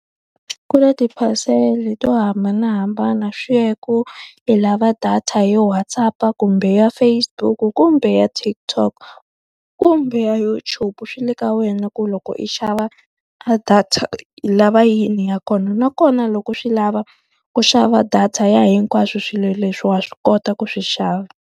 Ku kula ti-parcel to hambanahambana swi ya ku i lava data yo Whatsapp-a, kumbe ya Facebook, kumbe ya TikTok, kumbe YouTube. Swi le ka wena ku loko i xava a data i lava yini ya kona. Nakona loko swi lava ku xava data ya hinkwaswo swilo leswi wa swi kota ku swi xava.